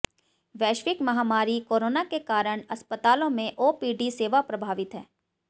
वैश्विक महामारी कोरोना के कारण अस्पतालों में ओपीडी सेवा प्रभावित है